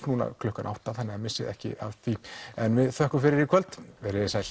núna klukkan átta þannig missið ekki af því en við þökkum fyrir í kvöld verið þið sæl